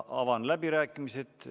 Avan läbirääkimised.